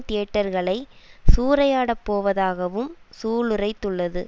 தியேட்டர்களை சூறையாடப்போவதாகவும் சூளுரைத்துள்ளது